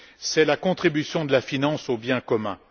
c'est la contribution de la finance au bien commun.